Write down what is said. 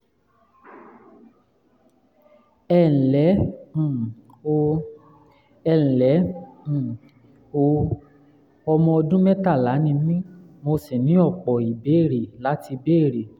ẹ ǹlẹ́ um o! ǹlẹ́ um o! ọmọ ọdún mẹ́tàlá ni mí mo sì ní ọ̀pọ̀ ìbéèrè láti béèrè